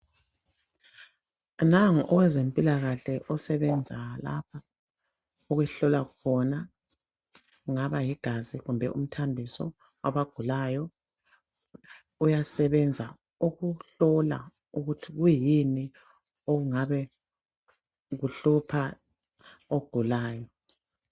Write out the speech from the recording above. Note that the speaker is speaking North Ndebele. Nango owezempilakahle, osebenza lapha. Okuhlolwa khona. Kungaba ligazi, kumbe umthambiso, kwabagulayo. Uyasebenza ukuhlola, ukuthi kuyini, okungabe kuhlupha ogulayo.